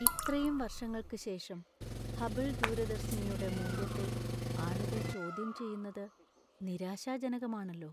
ഇത്രയും വർഷങ്ങൾക്ക് ശേഷം, ഹബിൾ ദൂരദർശിനിയുടെ മൂല്യത്തെ ആളുകൾ ചോദ്യം ചെയ്യുന്നത് നിരാശാജനകമാണല്ലോ.